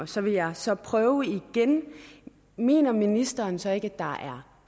så vil jeg så prøve igen mener ministeren så ikke at der er